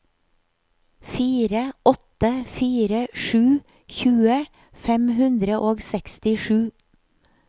fire åtte fire sju tjue fem hundre og sekstisju